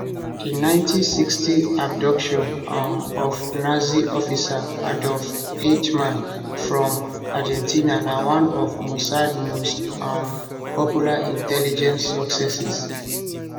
di 1960 abduction um of nazi officer adolf eichmann from argentina na one of mossad most um popular intelligence successes